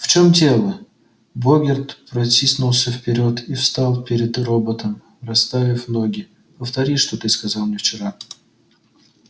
в чём дело богерт протиснулся вперёд и встал перед роботом расставив ноги повтори что ты сказал мне вчера